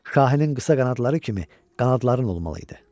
Şahinin qısa qanadları kimi qanadların olmalı idi.